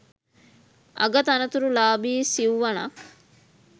අග තනතුරු ලාභී සිව්වණක්